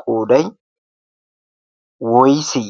qooday woysse?